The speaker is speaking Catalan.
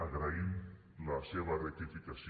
agraïm la seva rectificació